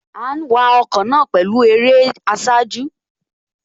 À ń wa ọkọ̀ náà pẹ̀lú eré àsájù